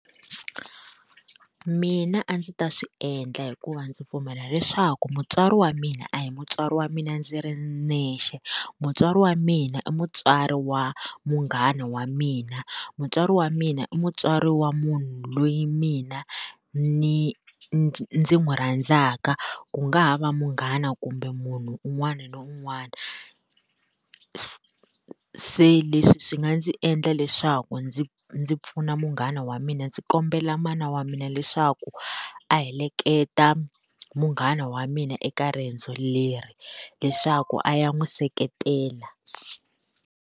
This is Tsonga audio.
Mina a ndzi ta swi endla hikuva ndzi pfumela leswaku mutswari wa mina a hi mutswari wa mina ndzi ri nexe mutswari wa mina i mutswari wa munghana wa mina mutswari wa mina i mutswari wa munhu loyi mina ni ndzi n'wi rhandzaka ku nga ha va munghana kumbe munhu un'wana na un'wana se leswi swi nga ndzi endla leswaku ndzi ndzi pfuna munghana wa mina ndzi kombela mana wa mina leswaku a heleketa munghana wa mina eka riendzo leri leswaku a ya n'wi seketela.